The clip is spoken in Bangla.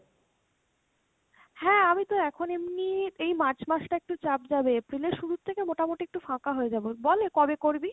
হ্যাঁ, আমি তো এখন এমনি এই March মাস টা একটু চাপ যাবে, april এর শুরুর থেকে মোটামোটি একটু ফাঁকা হয়ে যাবো, বল এ কবে করবি?